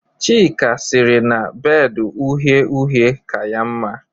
Chika siri na bedu uhe-uhe ka ya nma